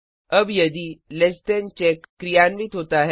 अब यदि less than check क्रियान्वित होता है